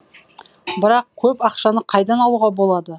бірақ көп ақшаны қайдан алуға болады